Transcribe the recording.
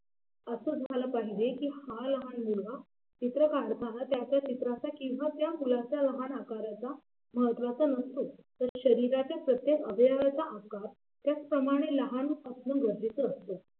असं झालं पाहिजे की हा लहान मुलगा चित्र काढताना त्याच्या चित्राच्या किंवा त्या मुलाच्या लहान आकाराचा महत्त्वाचा नसतो शरीराच्या प्रत्येक अवयवाचा आकार त्याचप्रमाणे लहान होणं गरजेचं असतं.